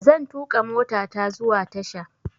Zan tuƙa motata zuwa tasha.